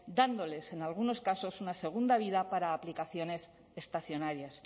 dándoles en algunos casos una segunda vida para aplicaciones estacionarias